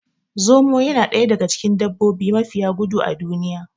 Zomo yana daga cikin dabbobi mafiya gudu a duniya